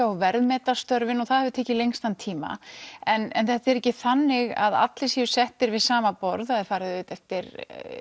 og verðmeta störfin og það hafi tekið lengstan tíma en þetta er ekki þannig að allir eru settir við sama borð farið eftir